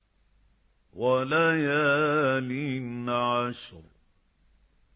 وَلَيَالٍ عَشْرٍ